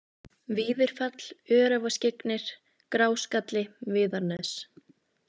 Víðirfell, Öræfaskyggnir, Gráskalli, Viðarnes